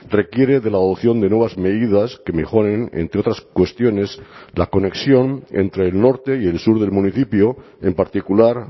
requiere de la adopción de nuevas medidas que mejoren entre otras cuestiones la conexión entre el norte y el sur del municipio en particular